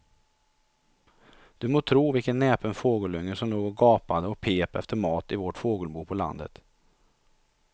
Du må tro vilken näpen fågelunge som låg och gapade och pep efter mat i vårt fågelbo på landet.